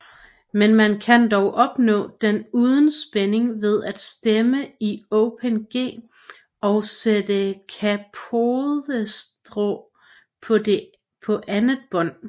Men man kan dog opnå den uden spænding ved at stemme i Open G og sætte capodestra på andet bånd